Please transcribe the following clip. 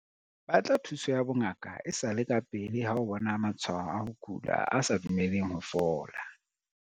Batla thuso ya bongaka e sa le kapele ha o bona matshwao a ho kula a sa dumeleng ho fola.